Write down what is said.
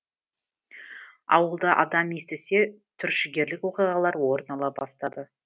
ауылда адам естісе түршігерлік оқиғалар орын ала бастады